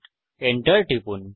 Enter টিপুন